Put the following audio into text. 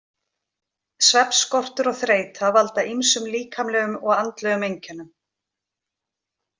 Svefnskortur og þreyta valda ýmsum líkamlegum og andlegum einkennum.